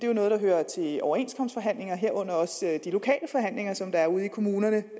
jo noget der hører til overenskomstforhandlinger herunder også de lokale forhandlinger som der er ude i kommunerne